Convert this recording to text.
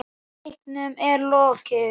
Leiknum er lokið.